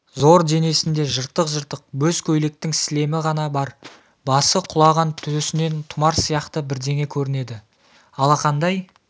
зор денесінде жыртық-жыртық бөз көйлектің сілемі ғана бар басы құлаған төсінен тұмар сияқты бірдеңе көрінеді алақандай